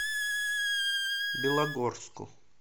белогорску